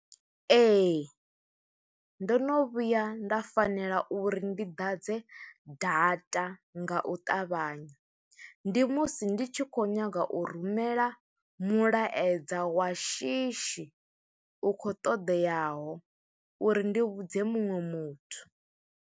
Ee, ndo no vhuya nda fanela uri ndi ḓadze data, nga u ṱavhanya. Ndi musi ndi tshi khou nyaga u rumela mulaedza wa shishi, u khou todeaho, uri ndi vhudze muṅwe muthu.